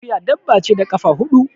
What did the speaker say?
Akuya dabba ce da kafa huɗu